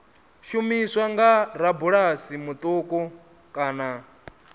shumiswa nga rabulasi muṱuku kana